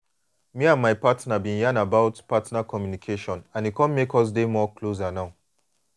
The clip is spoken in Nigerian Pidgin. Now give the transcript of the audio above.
me and my partner been yan about partner communication and e come make us dey more closer now